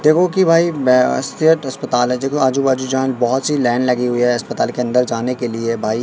देखो की भाई बे अस स्टेट अस्पताल हैं देखो आजू बाजू जान बहोत सी लाइन लगी हुई हैं अस्पताल के अंदर जाने के लिए भाई--